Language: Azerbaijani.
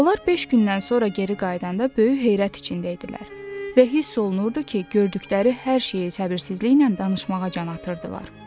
Onlar beş gündən sonra geri qayıdanda böyük heyrət içində idilər və hiss olunurdu ki, gördükləri hər şeyi tələbiliksiz danışmağa can atırdılar.